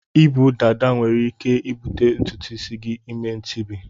Ibu dada enwere ike ibute ntụtụ isi gi ime ntibi.